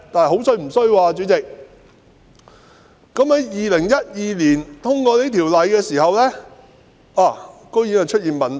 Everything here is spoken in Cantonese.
可是，代理主席，在2012年修訂《漁業保護條例》後竟然發現問題。